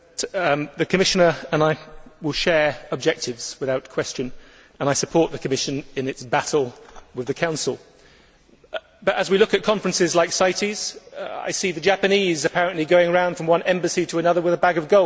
The Commissioner and I will share objectives without question, and I support the Commission in its battle with the Council, but, as we look at conferences like CITES, I see the Japanese apparently going round from one embassy to another with a bag of gold.